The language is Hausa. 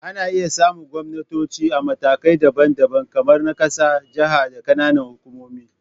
Ana iya samun gwamnatoci a matakai daban-daban, kamar na ƙasa, jaha, da ƙananan hukumomi